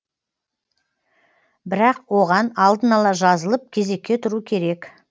бірақ оған алдын ала жазылып кезекке тұру керек